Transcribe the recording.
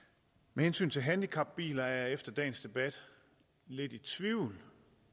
med hensyn til handicapbiler er jeg efter dagens debat lidt i tvivl